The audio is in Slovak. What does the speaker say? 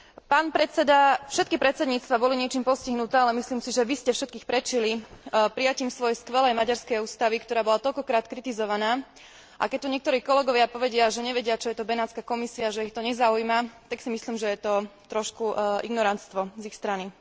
Pán predseda, všetky predsedníctva boli niečím postihnuté, ale myslím si, že vy ste všetkých predčili prijatím svojej skvelej maďarskej ústavy, ktorá bola toľko krát kritizovaná, a keď tu niektorí kolegovia povedia, že nevedia, čo je to Benátska komisia, že ich to nezaujíma, tak si myslím, že je to trošku ignoranstvo z ich strany.